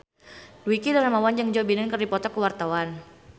Dwiki Darmawan jeung Joe Biden keur dipoto ku wartawan